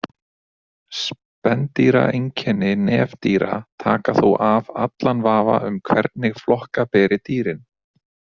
Spendýraeinkenni nefdýra taka þó af allan vafa um hvernig flokka beri dýrin.